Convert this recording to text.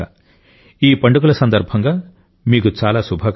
ఈ పండుగల సందర్భంగా మీకు చాలా శుభాకాంక్షలు